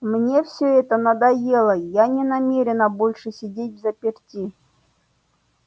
мне всё это надоело я не намерена больше сидеть взаперти